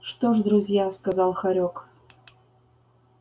что ж друзья сказал хорёк